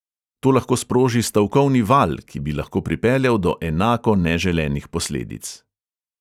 To lahko sproži stavkovni val, ki bi lahko pripeljal do enako neželenih posledic.